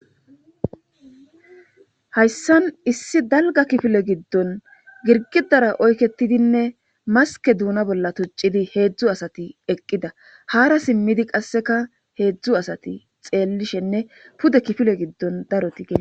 Hayssan issi dalga kifile giddon girgidara oyketidinne maske duuna bolla tuccidi heedzdzu asati eqqida haara simmidi qasseka heedzdzu asati xeellishenne pude kifile giddon daroti gee